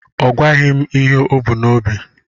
Ọ gwaghị m ihe o bu n'obi.